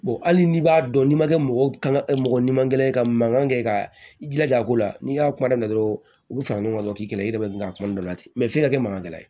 hali n'i b'a dɔn n'i ma kɛ mɔgɔ kan mɔgɔ ɲuman ye ka mankan kɛ ka i jilaja a ko la n'i y'a kuma na dɔrɔn u bi fara ɲɔgɔn kan k'i kɛlɛ i yɛrɛ ma ka kuma dɔ la ten mɛ f'i ka kɛ mankan gɛlɛn ye